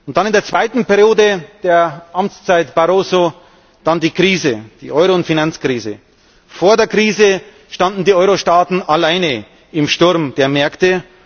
Dann, in der zweiten Periode der Amtszeit Barroso, die Euro und Finanzkrise. Vor der Krise standen die Eurostaaten alleine im Sturm der Märkte.